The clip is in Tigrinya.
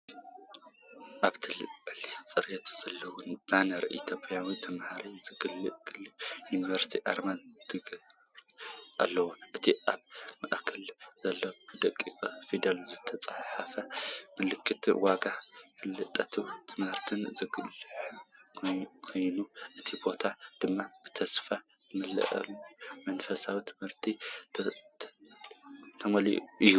ኣብቲ ልዑል ፅሬት ዘለዎ ባነር ኢትዮጵያውያን ተምሃሮ ዘገልግላ ዩኒቨርስታት ኣርማ ተገይሩሉ ኣሎ። እቲ ኣብ ማእከል ዘሎ ብደቂቕ ፊደላት ዝተጻሕፈ መልእኽቲ፡ ዋጋ ፍልጠትን ትምህርትን ዘጉልሕ ኮይኑ፡ እቲ ቦታ ድማ ብተስፋ ዝመልኦ መንፈስ ትምህርቲ ዝተመልአ እዩ።